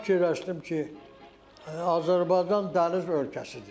Mən fikirləşdim ki, Azərbaycan dəniz ölkəsidir.